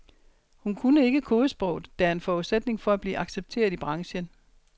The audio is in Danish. Hun kunne ikke kodesproget, der er en forudsætning for at blive accepteret i branchen.